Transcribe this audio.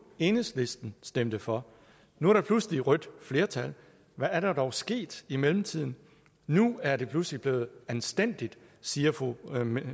enhedslisten stemte for nu er der pludselig et rødt flertal hvad er der dog sket i mellemtiden nu er det pludselig blevet anstændigt siger fru